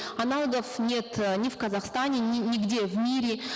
аналогов нет э ни в казахстане нигде в мире